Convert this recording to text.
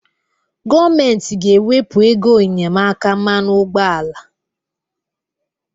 Gọọmentị ga-ewepụ ego enyemaka mmanụ ụgbọala.